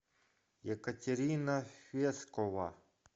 екатерина фескова